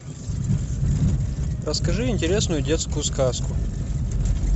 расскажи интересную детскую сказку